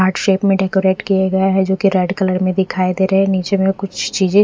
heart shape में decorate किए गए है जो की रेड कलर में दिखाई दे रहे है नीचे में कुछ चीजे--